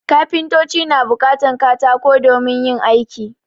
Kafintoci na buƙatan katako domin yin aiki